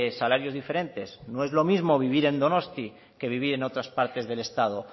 salarios diferentes no es lo mismo vivir en donosti que vivir en otras partes del estado